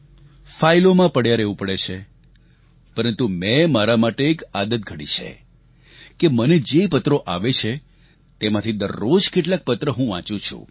ફાઈલોમાં પડ્યાં રહેવું પડે છે પરંતુ મેં મારા માટે એક આદત ઘડી છે કે મને જે પત્રો આવે છે તેમાંથી દરરોજ કેટલાંક પત્ર હું વાંચું છું